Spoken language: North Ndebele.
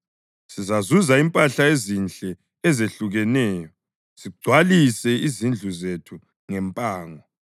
sizazuza impahla ezinhle ezehlukeneyo sigcwalise izindlu zethu ngempango;